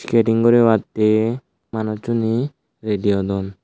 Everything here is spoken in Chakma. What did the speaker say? keding guribatte manussune redy awdon.